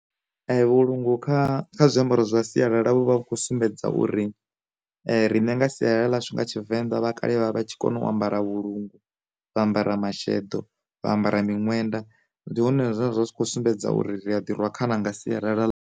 Vhu lungu kha zwiambaro zwa sialala vho vha vha khou sumbedza uri, riṋe nga sialala ḽashu nga tshivenḓa vhakale vha vha tshi kone u ambara vhulungu, vha ambara masheḓo, vha ambara miṅwenda, ndi hone zwine zwa zwi tshi kho sumbedza uri ri a ḓi rwa khana nga sialala.